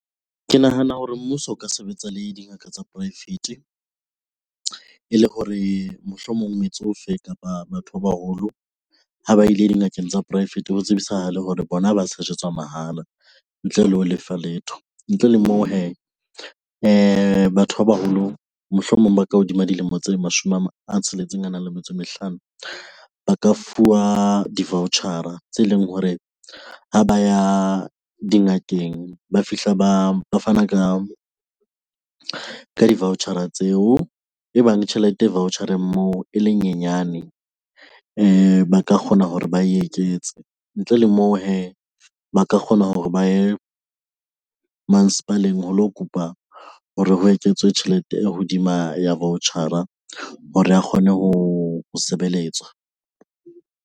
Ke nahana hore mmuso o ka sebetsa le dingaka tsa poraefete. Ele hore mohlomong metsofe kapa batho ba baholo ha ba ile dingakeng tsa poraefete ho tsebisahale hore bona ba sejetswa mahala ntle le ho lefa letho. Ntle le moo hee batho ba baholo mohlomong ba ka hodima dilemo tse mashome a a tsheletseng a nang le metso e mehlano. Ba ka fuwa di-voucher-a tse leng hore ha ba ya dingakeng ba fihla ba fana ka di-voucher-a tseo. Ebang tjhelete, voucher-eng moo e le nyenyane ba ka kgona hore ba e eketse. Ntle le moo hee, ba ka kgona hore ba ye masepaleng ho lo kopa hore ho eketswe tjhelete e hodima ya voucher-a hore a kgone ho sebeletswa.